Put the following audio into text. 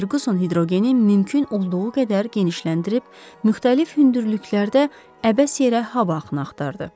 Ferquson hidrogeni mümkün olduğu qədər genişləndirib müxtəlif hündürlüklərdə əbəs yerə hava axını axtardı.